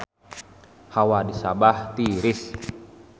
Hawa di Sabah tiris